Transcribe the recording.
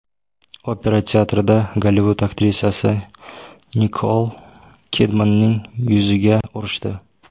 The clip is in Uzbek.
Opera teatrida Gollivud aktrisasi Nikol Kidmanning yuziga urishdi.